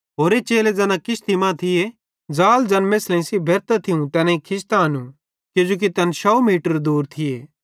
होरे चेले ज़ैना किश्ती मां थिये ज़ाल ज़ैना मेछ़लेईं सेइं भेरतां थियूं तैनेईं खिचतां आनू किजोकि तैना 100 मीटर दूर थिये